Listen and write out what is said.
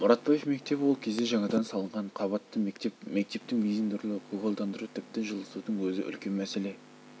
мұратбаев мектебі ол кезде жаңадан салынған қабатты мектеп мектептің безендірілуі көгалдандыру тіпті жылытудың өзі үлкен мәселе